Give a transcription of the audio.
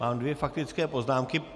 Mám dvě faktické poznámky.